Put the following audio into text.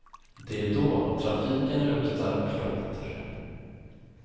Det är då trafiken luktar och låter.